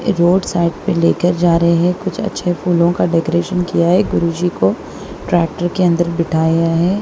Road side पे लेकर जा रहे हैं कुछ अच्छे फूलों का डेकोरेशन किया है गुरुजी को ट्रैक्टर के अंदर बिठाया है।